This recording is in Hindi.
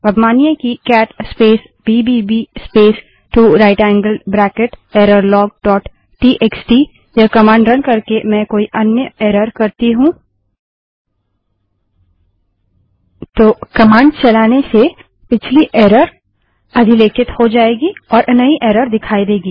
अब मानिए कि cat space B B B space two right angled bracket error log dot T X T cat space B B B space 2 right angled bracket error log T X T यह कमांड रन करके मैं कोई अन्य एरर करती हूँ तो कमांड चलाने से पिछली एरर अधिलेखित हो जायेगी और नई एरर दिखाई देगी